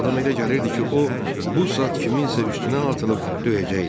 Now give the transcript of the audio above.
Adama elə gəlirdi ki, o bu saat kiminsə üstünə atılıb döyəcəkdi.